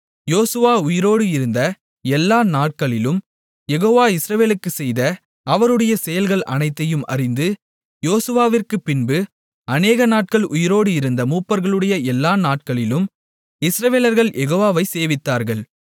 யோசுவா உயிரோடு இருந்த எல்லா நாட்களிலும் யெகோவா இஸ்ரவேலுக்குச் செய்த அவருடைய செயல்கள் அனைத்தையும் அறிந்து யோசுவாவிற்குப்பின்பு அநேகநாட்கள் உயிரோடு இருந்த மூப்பர்களுடைய எல்லா நாட்களிலும் இஸ்ரவேலர்கள் யெகோவாவைச் சேவித்தார்கள்